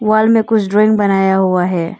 Wall में कुछ drawing बनाया हुआ है।